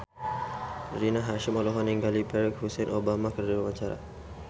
Rina Hasyim olohok ningali Barack Hussein Obama keur diwawancara